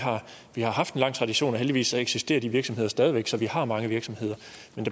har haft en lang tradition og heldigvis eksisterer de virksomheder stadig væk så vi har mange virksomheder